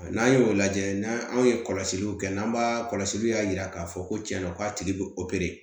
N'an y'o lajɛ n'an ye kɔlɔsiliw kɛ n'an b'a kɔlɔsiliw y'a jira k'a fɔ ko cɛnna k'a tigi bɛ